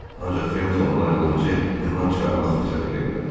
Ancaq Felton ona qılıncı qından çıxarmaq fürsəti vermədi.